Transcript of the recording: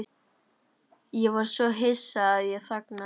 Ég var svo hissa að ég þagnaði.